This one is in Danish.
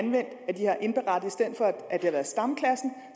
det har været stamklassen